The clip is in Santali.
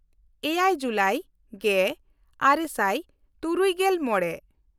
ᱮᱭᱟᱭ ᱡᱩᱞᱟᱭ ᱜᱮᱼᱟᱨᱮ ᱥᱟᱭ ᱛᱩᱨᱩᱭᱜᱮᱞ ᱢᱚᱬᱮ